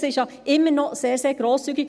Es ist ja immer noch sehr, sehr grosszügig.